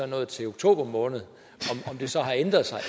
nået til oktober måned om det så har ændret sig